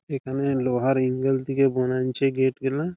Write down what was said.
এখানে লোহার এঙ্গেল থেকে বানাচ্ছে গেট গুলা-আ ।